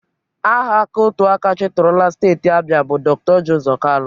Aha aka otu aka chịtụrụla Steti Abia bụ Dr. Orji Uzo Kalu.